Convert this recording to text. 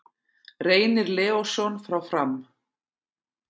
Reynir Leósson frá Fram